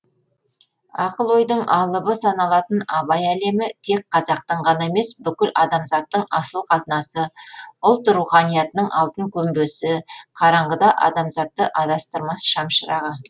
ақыл ойдың алыбы саналатын абай әлемі тек қазақтың ғана емес бүкіл адамзаттың асыл қазынасы ұлт руханиятының алтын көмбесі қараңғыда адамзатты адастырмас шамшырағы